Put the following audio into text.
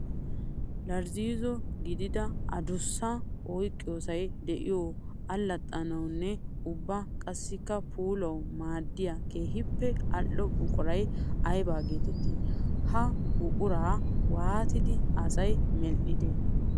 Irzzo gididda adussa oyqqiyossay de'iyo alxaxxanawunne ubba qassikka puulawu maadiya keehippe ali'o buquray aybba geetetti? Ha buqura waatiddi asay medhdhi?